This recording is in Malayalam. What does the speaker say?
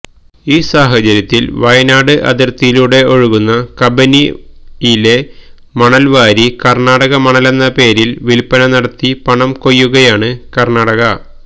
ഈ സാഹചര്യത്തില് വയനാട് അതിര്ത്തിയിലൂടെ ഒഴുകുന്ന കബനിയിലെ മണല്വാരി കര്ണാടക മണലെന്ന പേരില് വില്പന നടത്തി പണം കൊയ്യുകയാണ് കര്ണാടക